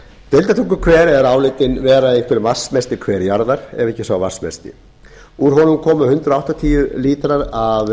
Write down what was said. deildartunguhver er álitinn vera einhver vatnsmesti hver jarðar ef ekki sá vatnsmesti úr honum koma hundrað áttatíu lítrar af níutíu og átta gráðu